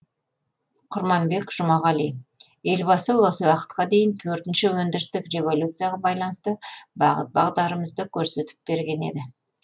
құрманбек жұмағали елбасы осы уақытқа дейін төртінші өндірістік революцияға байланысты бағыт бағдарымызды көрсетіп берген еді